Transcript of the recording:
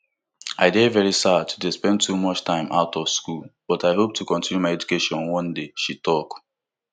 i dey very sad to dey spend too much time out of school but i hope to continue my education one day she tok